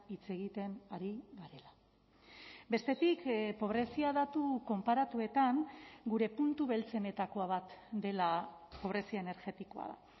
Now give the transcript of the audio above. hitz egiten ari garela bestetik pobrezia datu konparatuetan gure puntu beltzenetako bat dela pobrezia energetikoa da